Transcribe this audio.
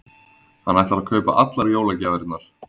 Hann ætlar að kaupa allar jólagjafirnar.